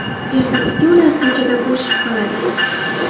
Ertasiga ular ko‘chada ko‘rishib qoladi.